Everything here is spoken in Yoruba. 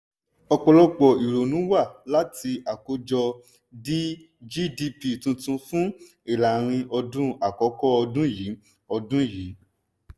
ọ̀pọ̀lọpọ̀ ìrònú wá láti àkójọ gdp tuntun fún ìlàrin-ọdún àkọ́kọ́ ọdún yìí. ọdún yìí.